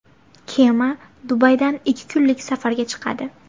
Kema Dubaydan ikki kunlik safarga chiqadi.